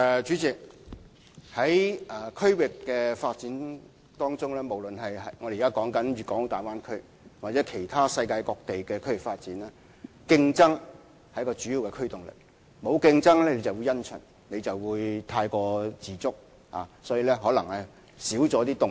主席，在區域發展當中，不論是我們現時談論的大灣區或其他世界各地的區域發展，競爭是一股主要推動力，沒有競爭便會因循、過於自滿，或會減少發展的動力。